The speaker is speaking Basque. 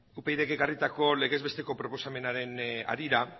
upydk ekarritako legez besteko proposamenaren harira